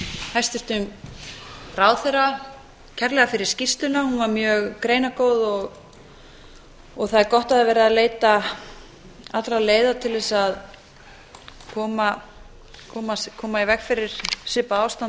hæstvirtum ráðherra kærlega fyrir skýrsluna hún var mjög greinargóð og það er gott að það er verið að leita allra leiða til þess að koma í veg fyrir svipað ástand og